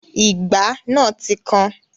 Ìgbá náà ti kan